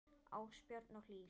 Ásbjörn og Hlíf.